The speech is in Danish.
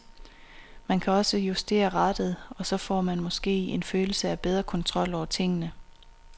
Man kan også justere rattet, og så får man måske en følelse af bedre kontrol over tingene.